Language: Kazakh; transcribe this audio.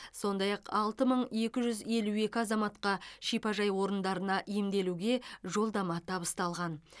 сондай ақ алты мың екі жүз елу екі азаматқа шипажай орындарына емделуге жолдама табысталған